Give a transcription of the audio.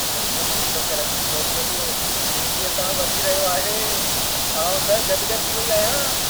मुंहिंजो cryptocurrency portfolio तेज़ीअ सां वधी रहियो आहे। आउं त गदि-गदि थी वई आहियां।